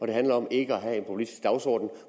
det handler om ikke at have en populistisk dagsorden